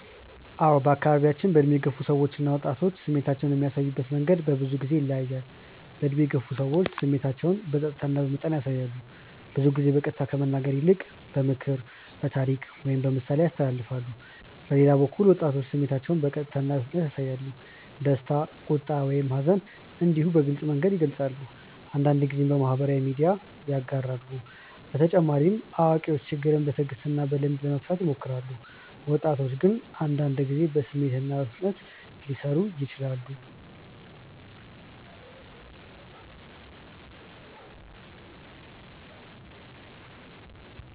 አዎ በአካባቢያችን ዕድሜ የገፉ ሰዎች እና ወጣቶች ስሜታቸውን የሚያሳዩበት መንገድ በብዙ ጊዜ ይለያያል። ዕድሜ የገፉ ሰዎች ስሜታቸውን በጸጥታ እና በመጠን ያሳያሉ። ብዙ ጊዜ በቀጥታ ከመናገር ይልቅ በምክር፣ በታሪክ ወይም በምሳሌ ያስተላልፋሉ። በሌላ በኩል ወጣቶች ስሜታቸውን በቀጥታ እና በፍጥነት ያሳያሉ። ደስታ፣ ቁጣ ወይም ሐዘን እንዲሁ በግልጽ መንገድ ይገልጻሉ፤ አንዳንድ ጊዜም በማህበራዊ ሚዲያ ያጋራሉ። በተጨማሪ አዋቂዎች ችግርን በትዕግስት እና በልምድ ለመፍታት ይሞክራሉ፣ ወጣቶች ግን አንዳንድ ጊዜ በስሜት በፍጥነት ሊሰሩ ይችላሉ።